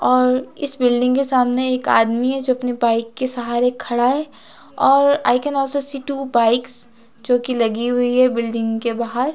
और इस बिल्डिंग के सामने एक आदमी है जो अपने बाइक के सहारे खड़ा है और I can also see two bikes जो कि लगी हुई है बिल्डिंग के बाहर।